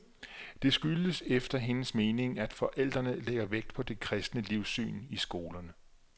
Det skyldes efter hendes mening, at forældrene lægger vægt på det kristne livssyn i skolerne.